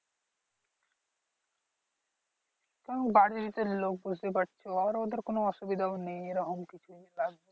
তাও এর লোক বুঝতেই পারছো আর ওদের কোন অসুবিধাও নেই যে এরকম কিছু লাগবে